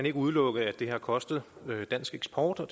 ikke udelukke at det har kostet dansk eksport og